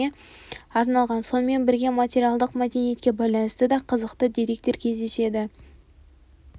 арналған сонымен бірге материалдық мәдениетке байланысты да қызықты деректер кездеседі